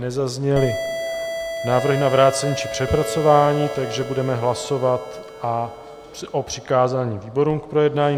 Nezazněly návrhy na vrácení či přepracování, takže budeme hlasovat o přikázání výborům k projednání.